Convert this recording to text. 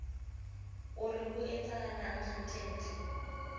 o re ho etsahalang hantlentle